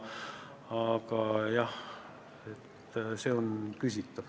Aga jah, kõik see on küsitav.